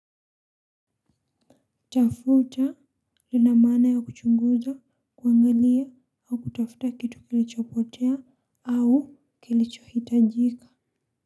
Tafuta lina maana ya kuchunguza kuangalia au kutafuta kitu kilichopotea au kilichohitajika.